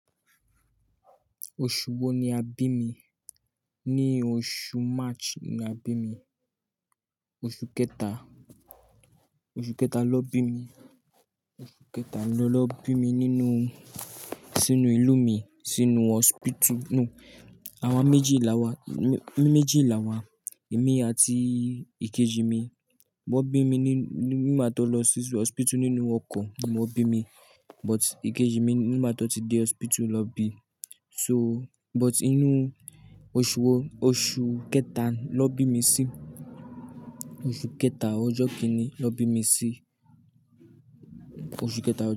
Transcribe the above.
Oṣù wo ni a bí mi? Ní oṣù March ni a bí mi. Oṣù kẹta, oṣù kẹta lọ bí mi, oṣù kẹta ni wọ́n lọ bí mi nínú, sínú ìlú mi, sínú hospital. Nú, àwa méjì là wa, mi méjì là wa, èmi àti ìkejì mi. Wọ́n bí mi ní, nígbà tó lọ sí hospital nínú ọkọ̀ ni wọ́n bí mi. But ìkejì mi nígbà tó ti dé hospital lọ bí. So, but inú oṣù wo? Oṣù kẹta lọ bí mi sí. Oṣù kẹta ọjọ́ kíni lọ bí mi sí. Oṣù kẹta.